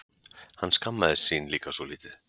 Hann skammaðist sín líka svolítið.